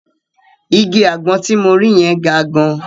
Igi àgbọn ti mo rí yẹn ga gan.